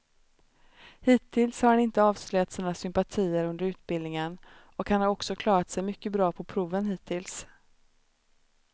Hittills har han inte avslöjat sina sympatier under utbildningen och han har också klarat sig mycket bra på proven hittills.